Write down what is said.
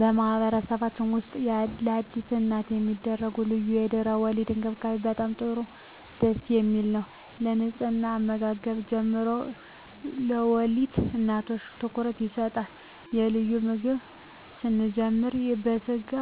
በማህበረሰብችን ውስጥ ለአዲስ እናት የሚደረጉ ልዩ የድህረ _ወሊድ እንክብካቤ በጣም ጥሩ ደስ የሚል ነው ከንጽሕና ከአመጋገብ ጀምሮ ለወልድ እናቶች ትኩረት ይሰጣቸዋል ከልዩ ምግብ ስንጀምር ከስጋ